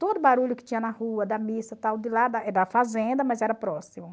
Todo barulho que tinha na rua, da missa, tal de lá da fazenda, mas era próximo.